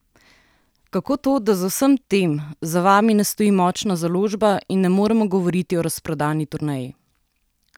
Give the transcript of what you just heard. Kako to, da za vsem tem, za vami ne stoji močna založba in ne moremo govoriti o razprodani turneji?